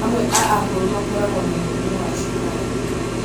amwe a akũrũ makoragwo na mũrimũ wa cukari